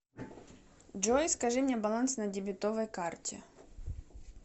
джой скажи мне баланс на дебетовой карте